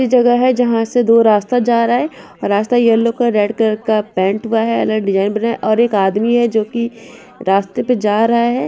इस जगह है जहा से दो रास्ता जा रहा है रास्ता यैलो कलर का रेड कलर का पैंट हुआ है अलग डिज़ाइन बना है और एक आदमी है जो की रास्ते पे जा रहा है।